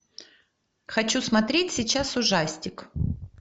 хочу смотреть сейчас ужастик